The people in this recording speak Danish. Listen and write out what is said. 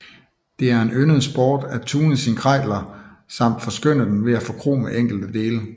Det var en yndet sport at tune sin Kreidler samt forskønne den ved at forkrome enkelte dele